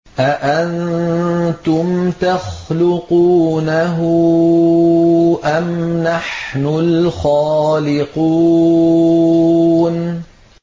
أَأَنتُمْ تَخْلُقُونَهُ أَمْ نَحْنُ الْخَالِقُونَ